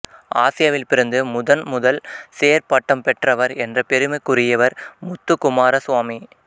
ஆசியாவில் பிறந்து முதன் முதல் சேர் பட்டம் பெற்றவர் என்ற பெருமைக்குரியவர் முத்துக்குமாரசுவாமி